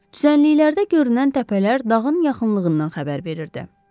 Düzənliklərdə görünən təpələr dağın yaxınlığından xəbər verirdi.